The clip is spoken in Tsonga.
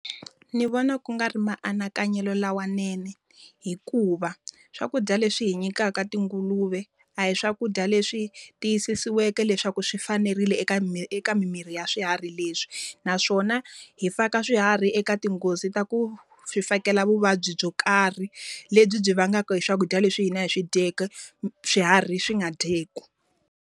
Ndzi vona ku nga ri maanakanyelo lawanene. Hikuva, swakudya leswi hi nyikaka tinguluve a hi swakudya leswi tiyisisiweke leswaku swi fanerile eka eka mimiri ya swiharhi leswi. Naswona hi faka swiharhi eka tinghozi ta ku swi fakela vuvabyi byo karhi, lebyi byi vangaka hi swakudya leswi hina hi swi dyaka, swiharhi swi nga dyeki.